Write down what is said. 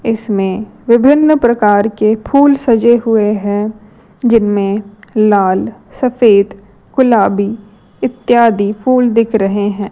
इसमें विभिन्न प्रकार के फूल सजे हुए हैं जिनमें लाल सफेद गुलाबी इत्यादि फुल दिख रहे हैं।